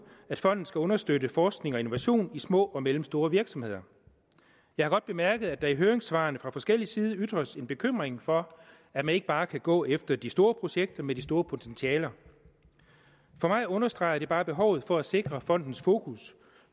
at fonden skal understøtte forskning og innovation i små og mellemstore virksomheder jeg har godt bemærket at der i høringssvarene fra forskellig side ytres en bekymring for at man ikke bare kan gå efter de store projekter med de store potentialer for mig understreger det bare behovet for at sikre fondens fokus